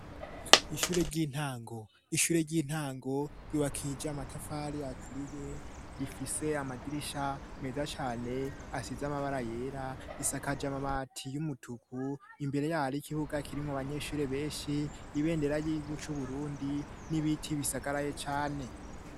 Ishure ry'intango, ishure ry'intango ryiwakija amatafari yaturiye rifise amadirisha meza cane asize amabara yera isakaja amabati y'umutuku imbere ya harikibuga kirinko banyeshure benshi ibendera ry'igihugu c'Uburundi n'ibiti bisagara ye cane.